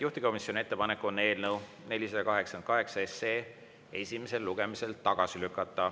Juhtivkomisjoni ettepanek on eelnõu 488 esimesel lugemisel tagasi lükata.